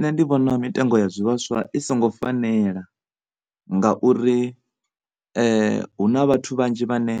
Nṋe ndi vhona mitengo ya zwivhaswa i songo fanela ngauri hu na vhathu vhanzhi vhane